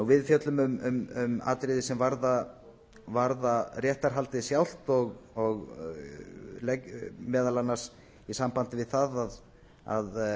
við fjöllum um atriði sem varða réttarhaldið sjálft meðal annars í sambandi við það að